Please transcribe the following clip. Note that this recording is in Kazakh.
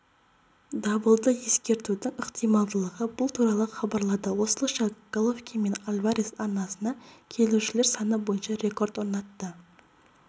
дабылды ескертудің ықтималдылығы бұл туралы хабарлады осылайша головкин мен альварес аренасына келушілер саны бойынша рекорд орнатты